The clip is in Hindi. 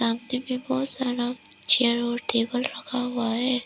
आगे में बहोत सारा चेयर और टेबल रखा हुआ है।